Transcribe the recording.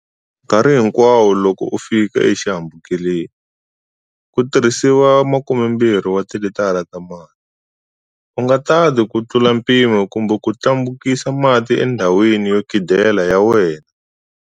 Nkarhi hinkwawo loko u fika exihambukelo, ku tirhisiwa 12 wa tilitara ta mati. U nga tati ku tlula mpimo kumbe ku tlhambukisa mati endhawini yo khidela ya wena.